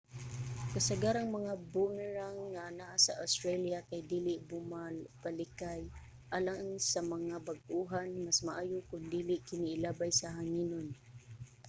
kasagarang mga boomerang nga anaa sa australia kay dili bumabalikay. alang sa mga bag-ohan mas maayo kon dili kini ilabay sa hanginon